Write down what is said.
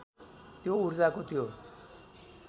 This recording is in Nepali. त्यो ऊर्जाको त्यो